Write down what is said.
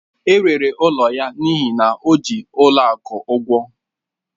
E rere ụlọ ya n'ihi na o ji n'ụlọ akụ ụgwọ